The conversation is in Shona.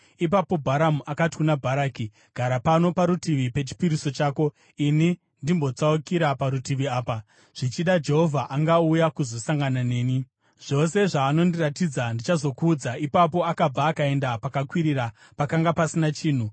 Ipapo Bharamu akati kuna Bharaki, “Gara pano parutivi pechipiriso chako, ini ndimbotsaukira parutivi apa. Zvichida Jehovha angauya kuzosangana neni. Zvose zvaanondiratidza, ndichazokuudza.” Ipapo akabva akaenda pakakwirira, pakanga pasina chinhu.